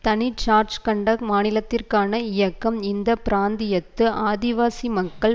தனி ஜார்கண்ட் மாநிலத்திற்கான இயக்கம் இந்த பிராந்தியத்து ஆதிவாசி மக்கள்